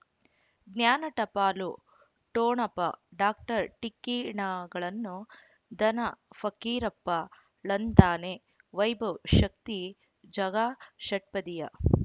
ಜ್ಞಾನ ಟಪಾಲು ಠೊಣಪ ಡಾಕ್ಟರ್ ಢಿಕ್ಕಿ ಣಗಳನು ಧನ ಫಕೀರಪ್ಪ ಳಂತಾನೆ ವೈಭವ್ ಶಕ್ತಿ ಝಗಾ ಷಟ್ಪದಿಯ